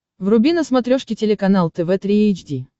вруби на смотрешке телеканал тв три эйч ди